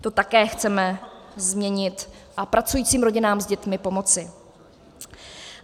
To také chceme změnit a pracujícím rodinám s dětmi pomoci.